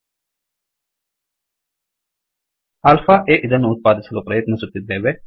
alpha ಆ ಇದನ್ನು ಉತ್ಪಾದಿಸಲು ಪ್ರಯತ್ನಿಸುತ್ತಿದ್ದೇವೆ